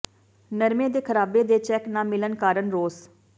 ਨਰਮੇ ਦੇ ਖਰਾਬੇ ਦੇ ਚੈੱਕ ਨਾ ਮਿਲਣ ਕਾਰਨ ਰੋਸ